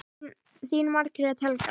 Þín Margrét Helga.